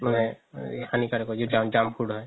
মানে হানিকৰক হয় যিতো junk food হয়